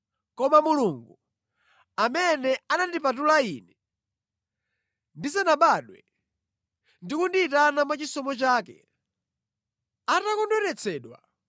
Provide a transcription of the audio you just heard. Koma Mulungu, amene anandipatula ine ndisanabadwe, ndi kundiyitana mwachisomo chake, atakondweretsedwa